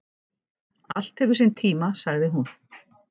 Allt hefur sinn tíma, sagði hún.